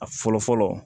A fɔlɔ fɔlɔ